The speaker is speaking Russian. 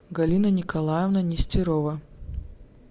галина николаевна нестерова